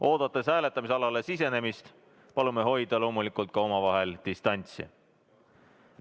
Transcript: Oodates hääletamisalale sisenemist, palume loomulikult omavahel distantsi hoida.